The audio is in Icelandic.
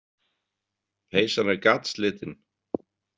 Peysan er gatslitin.